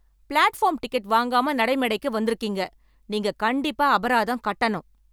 Platform ticket வாங்காமா நடைமேடைக்கு வந்துருக்கீங்க. நீங்க கண்டிப்பா அபராதம் கட்டனும்.